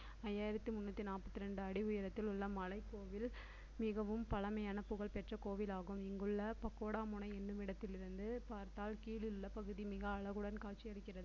ஐயாயிரத்தி முந்நூத்தி நாப்பத்தி ரெண்டு அடி உயரத்தில் உள்ள மலைக் கோவில் மிகவும் பழமையான புகழ் பெற்ற கோவிலாகும் இங்குள்ள பக்கோடா முனை என்னுமிடத்திலிருந்து பார்த்தால் கீழுள்ள பகுதி மிக அழகுடன் காட்சியளிக்கிறது